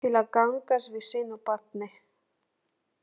Til að gangast við sínu barni.